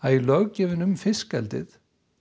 í löggjöfinni um fiskeldið